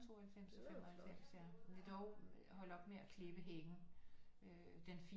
92 og 95 ja de er dog holdt op med at klippe hækken øh den fine